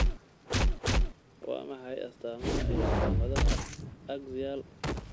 Waa maxay astamaha iyo calaamadaha Axial osteomalaka?